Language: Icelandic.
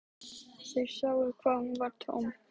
Þeir sáu að hún var tóm.